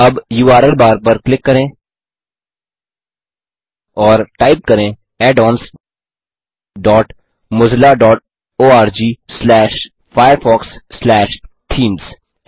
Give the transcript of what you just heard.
अब URL bar पर click करें और टाइप करें addonsmozillaorgfirefoxथीम्स